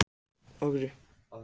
en þeir taka smá séns þar.